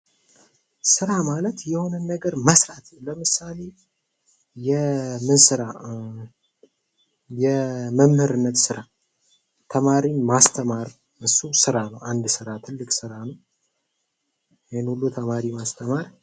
ስራ ማለት የሆነን ነገር መስራት ለምሳሌ የምን ስራ የመምህርነት ስራ ተማሪን ማስተማር እሱም ስራ ነው አንድ ስራ ትልቅ ስራ ነው ይሄን ሁሉ ተማሪ ማስተማር